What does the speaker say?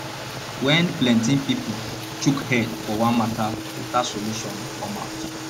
when plenty pipo chook head for one matter better solution dey come out